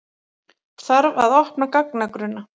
Þarf að opna gagnagrunna